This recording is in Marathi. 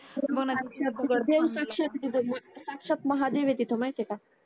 साक्षात महादेव येते ती माहिती आहे का